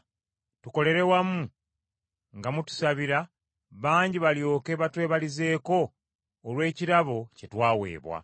Tukolere wamu nga mutusabira, bangi balyoke batwebalizeeko olw’ekirabo kye twaweebwa.